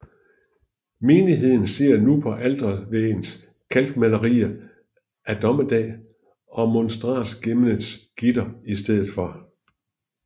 Menigheden ser nu på altervæggens kalkmalerier af Dommedag og monstransgemmets gitter i stedet for